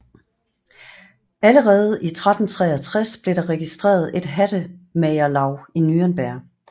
Allerede i 1363 blev der registreret et hattemagerlaug i Nürnberg